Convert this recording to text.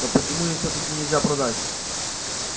но почему им всё-таки нельзя продать